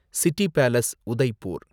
city palace, Udaipur